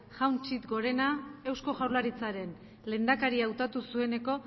jauna txit gorena eusko jaurlaritzaren lehendakari hautatu zueneko